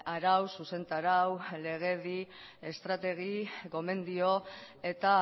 arau zuzentarau legedi estrategi gomendio eta